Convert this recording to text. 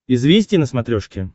известия на смотрешке